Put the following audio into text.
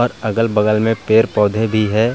अगल-बगल में पेड़-पौधे भी हैं। --